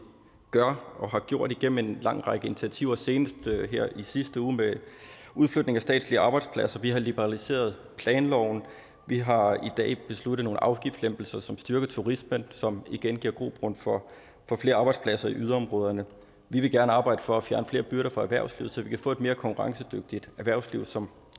gør og har gjort igennem en lang række initiativer senest her i sidste uge med udflytningen af statslige arbejdspladser vi har også liberaliseret planloven og vi har i dag besluttet nogle afgiftslempelser som styrker turismen som igen giver grobund for flere arbejdspladser i yderområderne vi vil gerne arbejde for at fjerne flere byrder fra erhvervslivet så vi kan få et mere konkurrencedygtigt erhvervsliv som